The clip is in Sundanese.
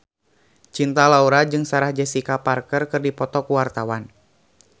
Cinta Laura jeung Sarah Jessica Parker keur dipoto ku wartawan